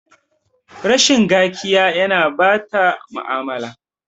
Rashin gakiya ya na ɓata mu'amala